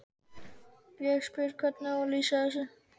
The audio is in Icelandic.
Ég spyr: Hvernig á ég að lýsa þessu?